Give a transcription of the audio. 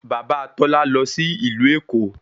Bàbá Tọ́lá lọ sí ìlú Èkó